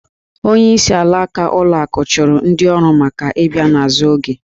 Onyeisi alaka ụlọ akụ chụrụ ndị ọrụ maka ị bịa n’azụ oge